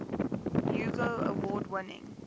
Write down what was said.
hugo award winning